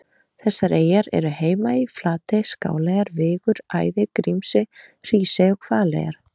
Þessar eyjur eru Heimaey, Flatey, Skáleyjar, Vigur, Æðey, Grímsey, Hrísey og Hvaleyjar.